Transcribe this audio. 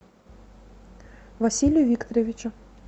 василию викторовичу